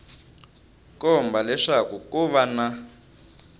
komba leswaku ko va na